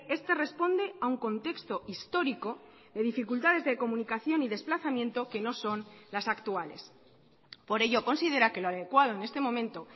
este responde a un contexto histórico de dificultades de comunicación y desplazamiento que no son las actuales por ello considera que lo adecuado en este momento